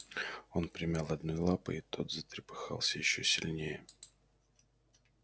он примял одной лапой и тот затрепыхался ещё сильнее